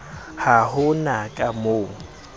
ha ho na ka moo